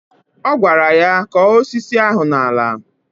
Ọ gwara ya " Kọ̀ọ́ osisi ahụ n'ala"